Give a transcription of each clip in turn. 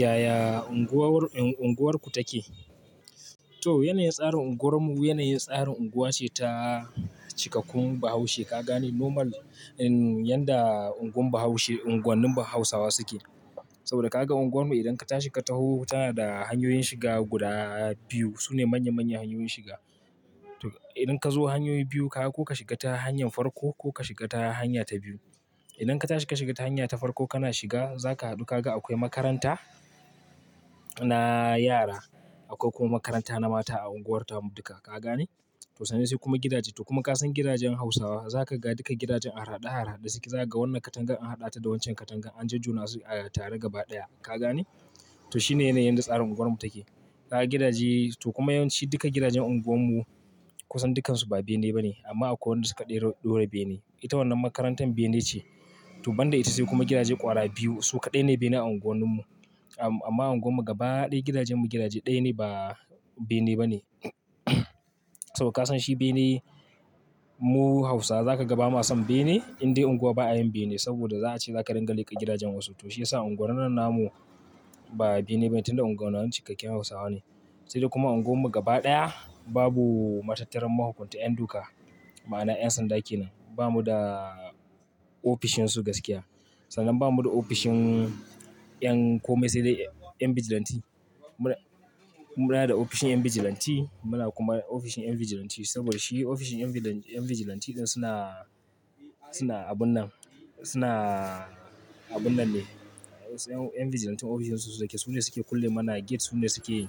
Yaya unguwar, unguwarku take? To yanayin tsarin unguwarmu, yanayin tsarin unguwa ce ta cikakkun Bahaushe ka gane normal. Yan da unguwar Bahaushe, unguwannin Hausawa suke. Saboda ka ga unguwarmu idan ka tashi ka taho tana da hanyoyin shiga guda biyu. Su ne manya manyan hanyoyin shiga. Idan ka zo hanyoyi biyu ka, ko ka shiga ta hanyar farko ko ka shiga ta hanya ta biyu. Idan ka tashi ka shiga ta hanya ta farko kana shiga, za ka hadu ka ga akwai makaranta na yara. Akwai kuma makaranta na mata a unguwartarmu duka ka gane? To sannan sai kuma gidaje. To kuma ka san gidajen Hausawa. Za ka ga duka gidajen an haɗaɗe, an haɗaɗe su. Za ka ga wannan katangan an haɗa ta da waccan katangan an jajjuna su a tare gaba ɗaya. Ka gane? To shi ne yanayin da tsarin unguwarmu take. Ka ga gidaje to kuma yawanci duka gidajen unguwanmu kusan dukansu ba bene ba ne. Amma akwai wanda suka ɗora bene. Ita wannan makarantar bene ce. To banda ita sai kuma gidaje ƙwara biyu su kaɗai ne bene a unguwanninmu. Amma unguwarmu gaba ɗaya gidajenmu gidaje ɗaya ne ba bene ba ne. Saboda ka san shi bene mu Hausawa za ka ga ba ma son bene. Indai unguwa ba a yin bene saboda za a ce za ka ringa leƙa gidajen wasu. To shi ya sa unguwannin nan namu ba bene bane tun da unguwannin cikakken Hausawa ne. Sai dai kuma unguwarmu gaba ɗaya babu matattaran mahukunta yan doka, ma'ana yan sanda ke nan. Ba mu da ofishin su gaskiya. Sannan ba mu da ofishin yan komai sai dai yan bijilanti. Muna, muna da ofishin 'yan bijilanti. Muna kuma ofishin 'yan bijilanti saboda shi ofishin 'yan bijilanti din suna, suna abun nan, suna abun nan ne. 'Yan bijilantin ofishin su su suke, su ne suke kulle mana gate. Su ne suke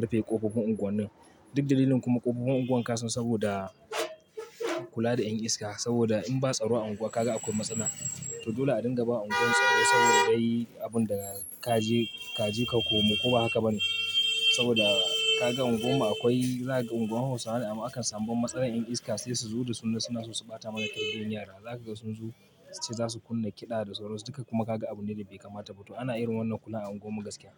rufe ƙofofin unguwa. Duk dalilin kuma ƙofofin unguwar ka san saboda kula da yan iska. Saboda in ba tsaro a unguwa ka ga akwai matsala. To dole a dinga ba unguwar tsaro saboda yayi abun da ka je, ka je ka komo ko ba haka ba ne? Saboda ka ga unguwar mu akwai, za ka ga unguwar Hausawa ne amma akan samu matsalar 'yan iska sai su zo da su ne suna so su ɓata mana kananun yara. Za ka ga sun zo sai za su kunna kiɗa da tsoro. Duka kuma ka ga abune da bai kamata ba. To ana yin wannan kula a unguwarmu gaskiya.